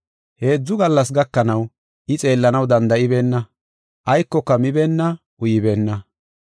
Heedzu gallas gakanaw I xeellanaw danda7ibeenna; aykoka mibeenna; uybeenna.